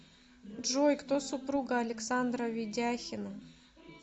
джой кто супруга александра ведяхина